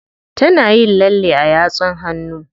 Tana yin lalle a yatsun hannu.